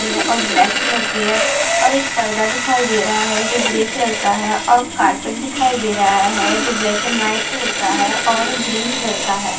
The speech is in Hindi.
यह अ ब्लैक कलर की है और एक पर्दा दिखाई दे रहा है जो ग्रे कलर का है और कारपेट दिखाई दे रहा है जो ब्लैक एंड व्हाइट कलर का है और ग्रीन कलर का है।